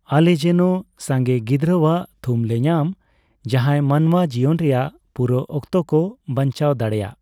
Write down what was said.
ᱟᱞᱮ ᱡᱮᱱ ᱥᱟᱸᱜᱮ ᱜᱤᱫᱽᱨᱟᱹᱣᱟᱜ ᱛᱷᱩᱢ ᱞᱮ ᱧᱟᱢ, ᱡᱟᱦᱟᱸᱭ ᱢᱟᱱᱣᱟ ᱡᱤᱭᱚᱱ ᱨᱮᱭᱟᱜ ᱯᱩᱨᱟᱹ ᱚᱠᱛᱚ ᱠᱚ ᱵᱟᱧᱪᱟᱣ ᱫᱟᱲᱮᱭᱟᱜ ᱾